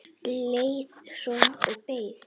Leið svo og beið.